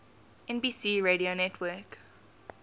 nbc radio network